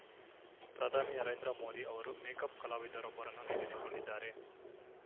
ಪ್ರಧಾನಿ ನರೇಂದ್ರ ಮೋದಿ ಅವರು ಮೇಕಪ್‌ ಕಲಾವಿದರೊಬ್ಬರನ್ನು ನೇಮಿಸಿಕೊಂಡಿದ್ದಾರೆ